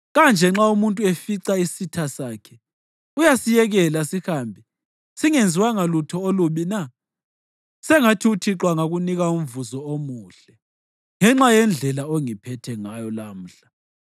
Kanje nxa umuntu efica isitha sakhe, uyasiyekela sihambe singenziwanga lutho olubi na? Sengathi uThixo angakunika umvuzo omuhle ngenxa yendlela ongiphathe ngayo lamhla.